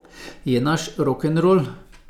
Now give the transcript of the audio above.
Je naš rokenrol.